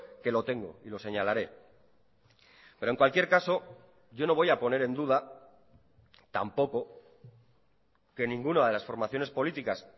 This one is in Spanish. que lo tengo y lo señalaré pero en cualquier caso yo no voy a poner en duda tampoco que ninguna de las formaciones políticas